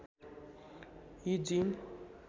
यी जीन